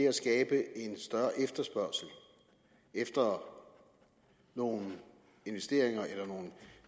at skabe en større efterspørgsel efter nogle investeringer eller nogle